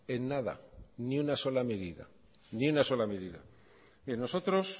en nada ni una sola medida nosotros